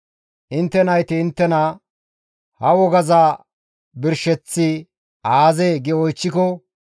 Intte nayti inttena, ‹Hayssa ha wogazas birsheththi aazee?› gi oychchiko,